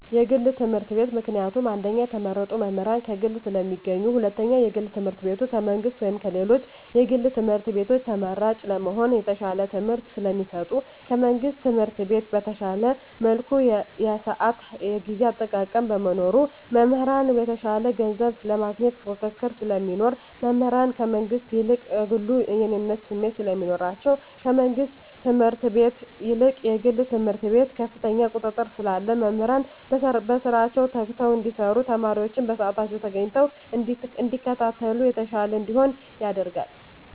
የግል ትምህርት ቤት። ምክንያቱም አንደኛ የተመረጡ መምህራን ከግል ስለሚገኙ ሁለተኛ የግል ትምህርት ቤቱ ከመንግስት ወይም ከሌሎች የግል ትምህርት ቤቶች ተመራጭ ለመሆን የተሻለ ትምህርት ስለሚሰጡ። ከመንግስት ትምህርት ቤት በተሻለ መልኩ የስአት የጊዜ አጠቃቀም በመኖሩ። መምህራን የተሻለ ገንዘብ ለማግኘት ፉክክር ስለሚኖር። መምህራን ከመንግስት ይልቅ ከግሉ የእኔነት ስሜት ስለሚኖራቸዉ። ከመንግስት ትምህርት ቤት ይልቅ የግል ትምህርት ቤት ከፍተኛ ቁጥጥር ስላለ መምህራን በስራቸዉ ተግተዉ እንዲያስተምሩ ተማሪወችም በስአታቸዉ ተገኝተዉ እንዲከታተሉ የተሻለ እንዲሆን ያደርጋል።